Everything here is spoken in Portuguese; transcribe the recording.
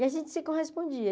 E a gente se correspondia.